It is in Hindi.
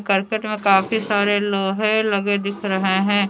करकट में काफी सारे लोहे लगे दिख रहे हैं।